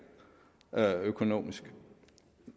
økonomisk